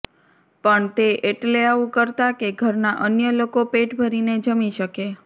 પણ તે એટલે આવું કરતાં કે ઘરના અન્ય લોકો પેટ ભરીને જમી શકે